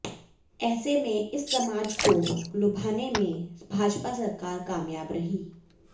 ऐसे में इस समाज को लुभाने में भाजपा सरकार कामयाब रही